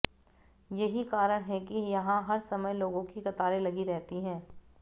यही कारण है कि यहां हर समय लोगों की कतारें लगी रहती हैं